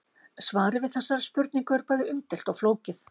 Svarið við þessari spurningu er bæði umdeilt og flókið.